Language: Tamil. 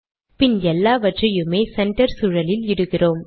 பின் எல்லாவற்றையுமே சென்டர் சூழலில் இடுகிறோம்